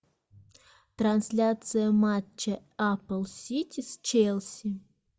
трансляция матча апл сити с челси